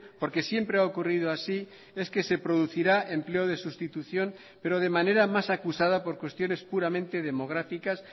porque siempre ha ocurrido así es que se producirá empleo de sustitución pero de manera más acusada por cuestiones puramente demográficas